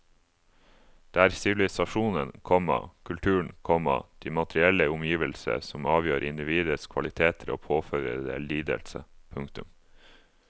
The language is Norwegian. Det er sivilisasjonen, komma kulturen, komma de materielle omgivelser som avgjør individets kvaliteter og påfører det lidelse. punktum